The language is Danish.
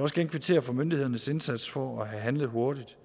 også gerne kvittere for myndighedernes indsats for at have handlet hurtigt